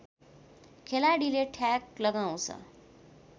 खेलाडीले ठ्याक लगाउँछ